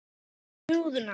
Hvernig hugsar þú um húðina?